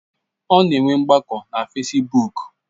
Ọ na enwe ngbako na fesibuk